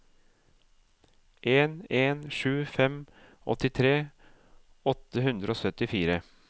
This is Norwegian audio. en en sju fem åttitre åtte hundre og syttifire